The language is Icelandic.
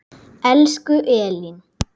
Elsku Elín.